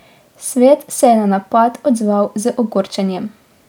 Svet se je na napad odzval z ogorčenjem.